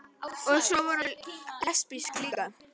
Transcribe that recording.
Og svo var hún lesbísk líka.